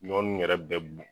Ɲɔ nunnu yɛrɛ bɛ